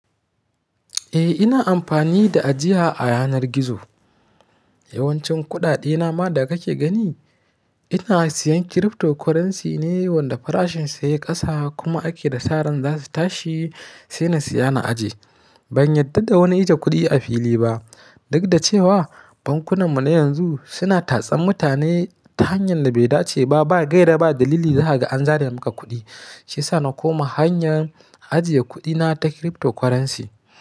Eh ina amfani da ajiya a yanar gizo. Yawancin kuɗaɗe na ma da kake gani ina siyan cryptocurrency ne wanda farashin sa ya yi kasa kuma ake da sa'ar za su tashi sai na siya na ajiye. Ban yarda da wani iya kuɗi a fili ba, duk da cewa bankunan mu na yanzu suna tatsa mutane ta hanyar da bai dace ba, ba gaira ba dalili za ka an zare maka kuɗi. Shi ya sa na koma hanyar ajiye kuɗi na ta cryptocurrency.